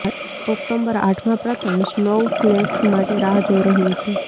October આઠમા પ્રથમ snowflakes માટે રાહ જોઈ રહ્યું છે